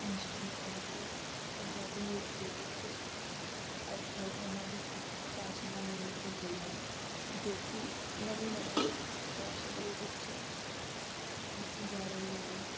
ਨਿਸ਼ਚਿਤ ਕੀਤਾ ਕਿ ਪੰਜਾਬੀ ਰੂਪ ਦੇ ਵਿਚ ਅੱਜ ਕੱਲ ਉਨ੍ਹਾਂ ਦੀ ਥਾਂ ਫੈਸ਼ਨਾਂ ਨੇ ਲਿੱਤੀ ਹੋਈ ਹੈ ਜੋ ਕਿ ਨਵੇਂ ਨਵੇਂ ਫੈਸ਼ਨ ਦੇ ਵਿਚ ਕੀਤੀ ਜਾ ਰਹੀ ਹੋਵੇ।